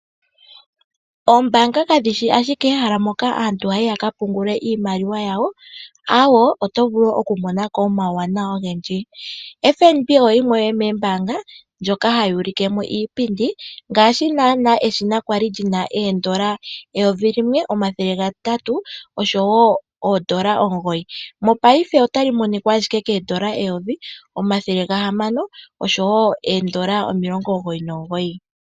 Oombaanga kadhi shi ashike ehala moka aantu haya yi ya ka pungule iimaliwa yawo, aawe, oto vulu okumona ko omawuwanawa ogendji. FNB oyo yimwe yomoombaanga ndjoka hayi ulike mo iipindi, ngaashi naanaa eshina lya li li na N$ 1 809, mopaife otali monika ashike kooN$ 1 699.